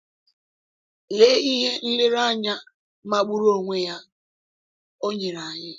Lee ihe nlereanya magburu onwe ya o nyere anyị!